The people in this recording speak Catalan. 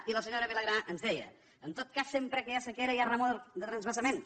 i la senyora vilagrà ens deia en tot cas sempre que hi ha sequera hi ha remor de transvasaments